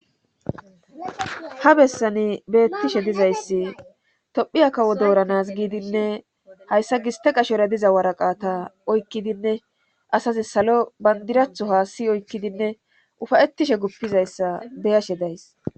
Ha bessani beettishe dizayssi tophphiya kawo dooranas giidinne hayssa giste qashore diza waraqata oykkidinne asazi salo bandiraatho haasi oykkidinne ufayetishe gupizayssa beyashe days